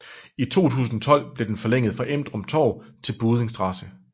I 2012 blev den forlænget fra Emdrup Torv til Buddinge st